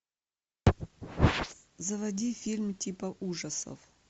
заводи фильм типа ужасов